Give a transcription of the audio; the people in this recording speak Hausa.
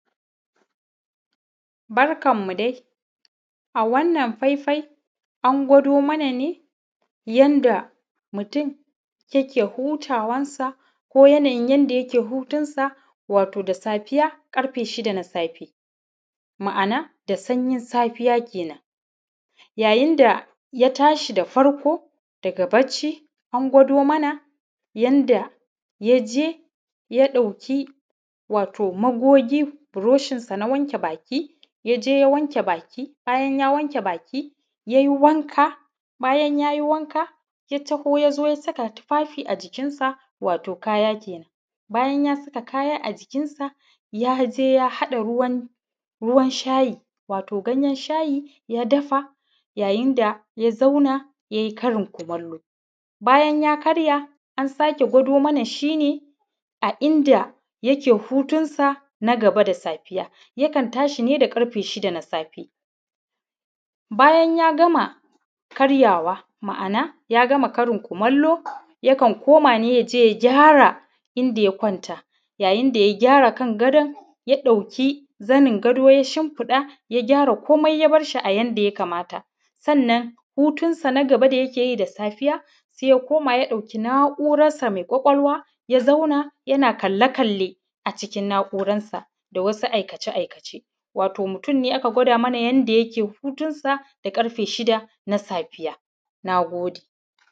Barkanmu dai, a wannan faifai an gwado mana ne yadda mutum yake hutawarsa ko yanayin yadda yake hutunsa wato da safiya karfe shida na safe, ma’ana da sanyin safiya kenan, yayin da ya tashi da farko daga bashi an gwado mana yadda ya je ya ɗauki wato magogi brushinsa na wanke baki, ya je ya wanke baki bayan ya wanke baki, ya yi wanka bayan ya yi wanka, ya tawo ya saka tufafi a jikinsa wato kaya kenan, bayan ya saka kaya a jikinsa, ya je ya haɗa ruwan shayi wato ganyan shayi ya dafa yayin da ya zauna ya yi Karin kumallo, bayan ya karya, an sake gwado mana shi ne a inda yake hutunsa na gaba da safiya, yakan tashi ne da karfe shida na safe bayan ya gama karya wa ma’ana ya gama karin kumallo yakan koma ne yaje ya gyara inda ya kwanta yayin da ya gyara kan gadon ya ɗauki zanin gado ya shinfiɗa ya gyara komai ya bashi a yadda ya kamata sannan hutun sa na gaba da yake yi da safiya sai ya koma ya ɗauki nauransa mai ƙwaƙwalwa ya zauna yana kale-kale a cikin nauransa da wasu aikace-aikace wato mutum ne aka gwada mana yadda yake hutunsa da karfe shida na safiya, na gode.